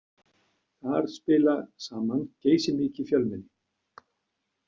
Þar spila saman geysimikið fjölmenni.